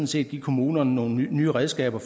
set give kommunerne nogle nye redskaber